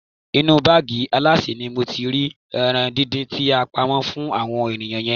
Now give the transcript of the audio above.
Inú báàgì alásè ni mo ti rí ẹran díndín tí a pamọ́ fún àwọn ènìyàn yẹn.